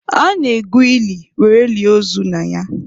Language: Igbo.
A na-egwu ili were lie ozu na ya.